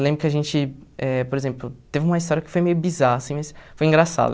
Eu lembro que a gente, eh por exemplo, teve uma história que foi meio bizarra, assim, mas foi engraçado.